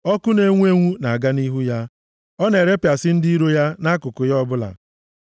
Ọkụ na-enwu enwu na-aga nʼihu ya ọ na-erepịasị ndị iro ya nʼakụkụ ya ọbụla.